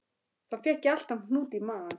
Þá fékk ég alltaf hnút í magann.